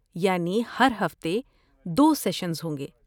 یعنی ہر ہفتے دو سیشنز ہوں گے